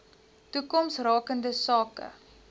toekoms rakende sake